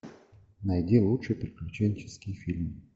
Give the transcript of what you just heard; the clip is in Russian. найди лучший приключенческий фильм